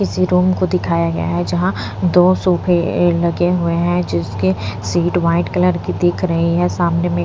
इसी रूम को दिखाया गया हैं जहां दो सोफे लगे हुएं हैं जिसके सीट व्हाइट कलर की दिख रही है सामने में--